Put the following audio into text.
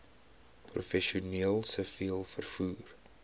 professioneel siviel vervoer